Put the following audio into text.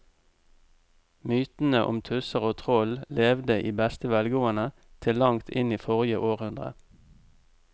Mytene om tusser og troll levde i beste velgående til langt inn i forrige århundre.